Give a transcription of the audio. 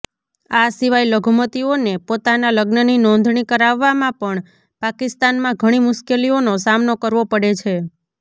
આ સિવાય લઘુમતીઓને પોતાના લગ્નની નોંધણી કરાવવામાં પણ પાકિસ્તાનમાં ઘણી મુશ્કેલીઓનો સામનો કરવો પડે છે